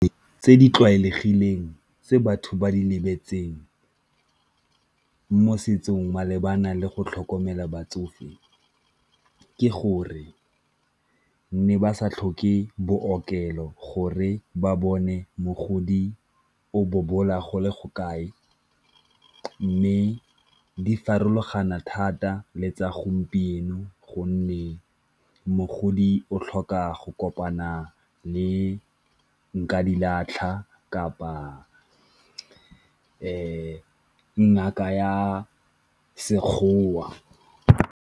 Tse di tlwaelegileng tse batho ba di lebetseng mo setsong malebana le go tlhokomela batsofe ke gore ne ba sa tlhoke bookelo gore ba bone mogodi o bobola go le go kae, mme di farologana thata le tsa gompieno gonne mogodi o tlhoka go kopana le nkadilatlha kapa ngaka ya Sekgowa.